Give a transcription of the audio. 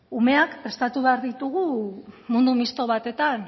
umeak prestatu behar ditugu mundu misto batetan